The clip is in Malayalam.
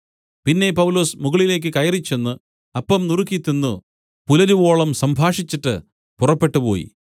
പിന്നെ പൗലൊസ് മുകളിലേക്ക് കയറിച്ചെന്ന് അപ്പം നുറുക്കി തിന്ന് പുലരുവോളം സംഭാഷിച്ച് പുറപ്പെട്ടുപോയി